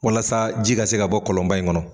Walasa ji ka se ka bɔ kɔlɔnba in kɔnɔ.